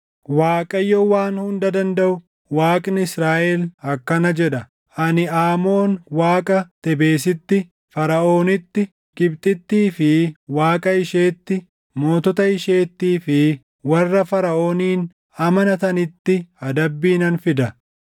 Waaqayyo Waan Hunda Dandaʼu, Waaqni Israaʼel akkana jedha: “Ani Aamoon Waaqa Tebesitti, Faraʼoonitti, Gibxittii fi Waaqa isheetti, mootota isheettii fi warra Faraʼoonin amanatanitti adabbii nan fida.